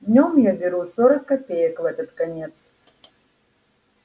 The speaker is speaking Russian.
днём я беру сорок копеек в этот конец